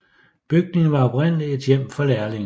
Bygningen var oprindeligt et hjem for lærlinge